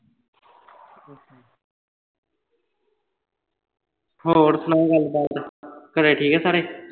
ਹੌ ਹਨਾ ਗੱਲਬਾਤ ਘਰੇ ਠੀਕ ਨੇ ਸਾਰੇ